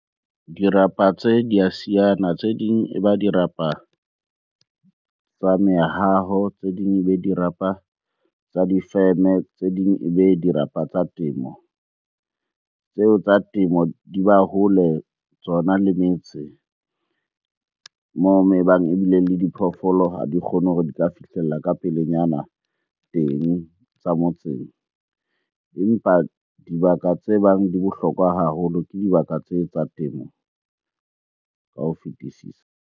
Dirapa tse di a siyana, tse ding e ba dirapa tsa mehaho, tse ding ebe dirapa tsa difeme, tse ding ebe dirapa tsa temo. Tseo tsa temo di ba hole tsona le metse moo e bang ebile le diphoofolo ha di kgone hore di ka fihlella ka pelenyana teng tsa motseng. Empa dibaka tse bang di bohlokwa haholo ke dibaka tse tsa temo ka ho fetisisa.